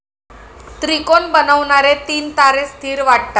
त्रिकोण बनवणारे तीन तारे स्थीर वाटतात.